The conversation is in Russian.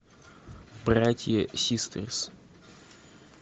братья систерс